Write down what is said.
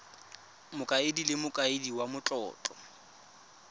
mokaedi le mokaedi wa matlotlo